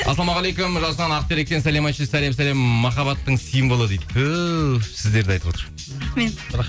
ассалаумағалейкум жасұлан ақтеректен сәлем айтшы сәлем сәлем махаббаттың символы дейді түһ сіздерді айтып отыр рахмет